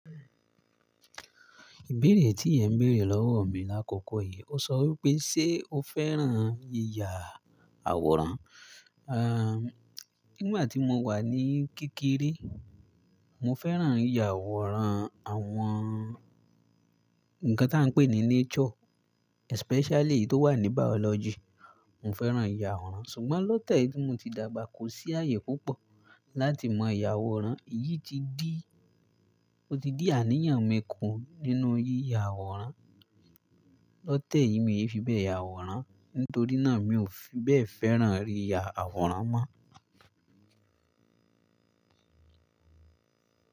Ìbéèrè tí è ń béèrè lọ́wọ́ mi lákòókò yìí, ó sọ wí pé, "Ṣé o fẹ́ràn yíya àwòrán?" À, nígbà tí mo wà ní kékeré, mọ fẹ́ràn yíya àwòrán àwọn ǹkan tí à ń pè ní nature, especially tó wà ní biology. Mo fẹ́ràn yíya àwòrán. Ṣùgbọ́n lọ́tẹ̀ yìí ti mọ tí dàgbà kó sí ààyè púpọ̀ láti maa yà àwòrán. Èyí ti di, ó ti di àníyàn mi kú nínú yíya àwòrán. Lọ́tẹ̀ yìí, mi ò fi bẹ́ẹ̀ ya àwòrán, nítorí náà mi ò fi bẹ́ẹ̀ fẹ́ràn yíya àwòrán mọ́.